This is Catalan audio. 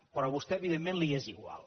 però a vostè evidentment li és igual